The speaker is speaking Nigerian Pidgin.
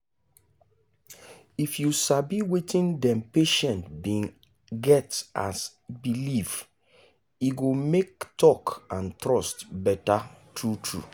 if you sabi wetin dem patient bin get as belifef e go make talk and trust better true true.